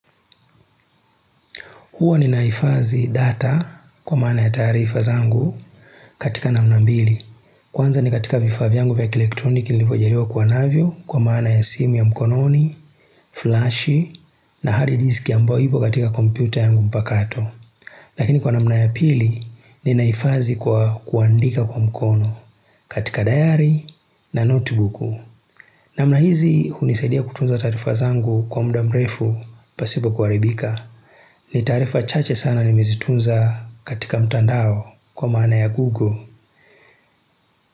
Huwa ninaifathi data kwa maana ya tarifa zangu katika namna mbili. Kwanza ni katika vifaa yangu vya elektroniki niliyvo jariwa kuwa navyo kwa maana ya simu ya mkononi, flashi na hard diski ambayo ipo katika kompyuta yangu mpakato. Lakini kwa namna ya pili ninaifathi kwa kuandika kwa mkono katika diary na notebook. Namna hizi hunisaidia kutunza tarifa zangu kwa mda mrefu pasipo kuaribika. Ni tarifa chache sana nimezitunza katika mtandao kwa maana ya Google.